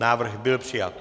Návrh byl přijat.